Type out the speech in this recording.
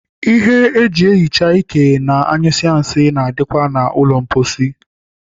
Ihe eji ehicha ike ma anyụsịa nsị na-adịkwa na ụlọ mposi.